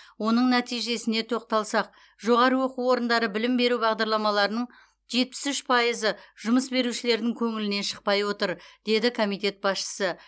оның нәтижесіне тоқталсақ жоғары оқу орындары білім беру бағдарламаларының жетпіс үш пайызы жұмыс берушілердің көңілінен шықпай отыр деді комитет басшысы